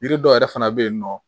Yiri dɔ yɛrɛ fana bɛ yen nɔ